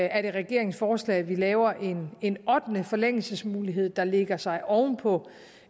er det regeringens forslag at vi laver en en ottende forlængelsesmulighed der lægger sig oven på